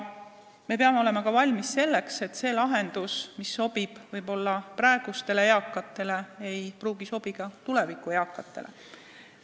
Me peame olema valmis selleks, et see lahendus, mis sobib võib-olla praegustele eakatele, ei pruugi sobida tuleviku eakatele.